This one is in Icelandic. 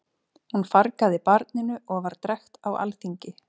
Hún fargaði barninu og var drekkt á alþingi.